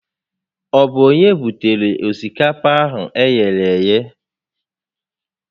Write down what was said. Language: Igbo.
Ọ bụ onye butere osikapa a eghere eghe?